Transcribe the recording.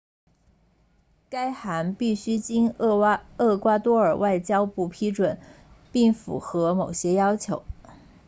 该函必须经厄瓜多尔外交部批准并符合某些要求